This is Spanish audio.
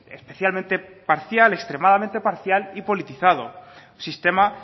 especialmente parcial extremadamente parcial y politizado un sistema